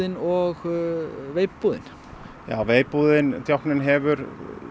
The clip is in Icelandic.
og veip búðin já veip búðin djákninn hefur